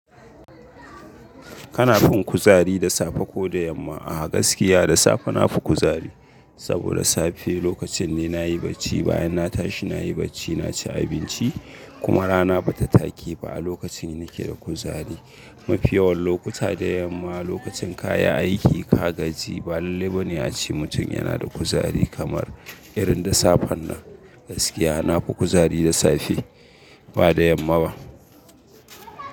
Kana fin kuzari da safe ko da yamma? A gaskiya da safe na fi kuzari, saboda safe lokacin ne na yi bacci bayan na tashi na yi bacci, na ci abinci kuma rana ba ta take ba. Lokacin ne nake da kuzari, mafi yawan lokuta da yamma lokacin ka yi aiki ka gaji ba labbai ba ne ace mutum yana da kuzari kamar, irin da safen nan. Gaskiya na fi kuzari da safe, ba da yamma ba.